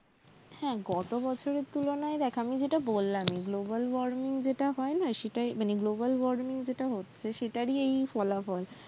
হ্যাঁ গতবছরের তুলনায় দেখ আমি যেটা বললামই global warming যেটা হয়না সেটাই মানে global warming যেটা হচ্ছে সেটারই এই ফলাফল